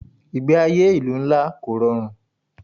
Ìgbé ayé ìlú ńlá kò rọrùn.